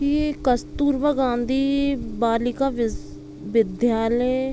ये कस्तूरबा गाँधी बालिका विश्व विद्यालय--